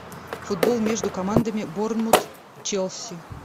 футбол между командами борнмут челси